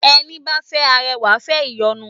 Ẹní bá ń fẹ́ arẹwà, ǹ fẹ́ ìyọnu